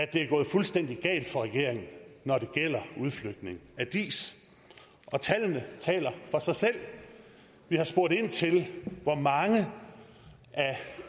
det er gået fuldstændig galt for regeringen når det gælder udflytningen af diis tallene taler for sig selv vi har spurgt ind til hvor mange af